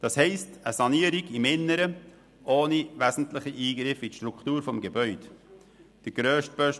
Das heisst, dass eine Sanierung im Inneren ohne wesentliche Eingriffe in die Struktur des Gebäudes erfolgen muss.